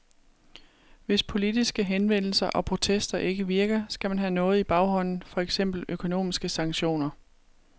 Hvis politiske henvendelser og protester ikke virker, skal man have noget i baghånden, for eksempel økonomiske sanktioner.